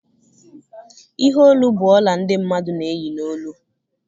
ihe olu bụ ọla ndị mmadụ na-eyi n'olu